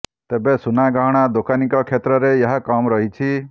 ତେବେ ସୁନା ଗହଣା ଦୋକାନୀଙ୍କ କ୍ଷେତ୍ରରେ ଏହା କମ୍ ରହିଛି